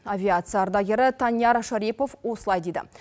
авиация ардагері таньяр шарипов осылай дейді